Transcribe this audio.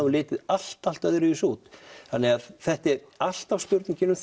hún litið allt allt öðruvísi út þannig að þetta er alltaf spurning um